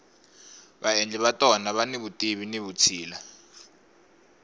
vaendli va tona vani vutivi ni vutshila